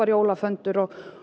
jólaföndur og